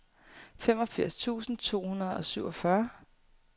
femogfirs tusind to hundrede og syvogfyrre